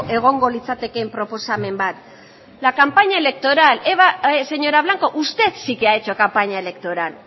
egongo litzatekeen proposamen bat la campaña electoral señora blanco usted sí que ha hecho campaña electoral